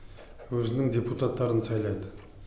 өзінің депутаттарын сайлайды